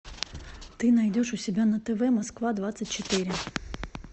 ты найдешь у себя на тв москва двадцать четыре